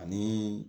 Ani